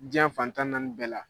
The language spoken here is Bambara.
Diɲa fan tan ni naani bɛɛ la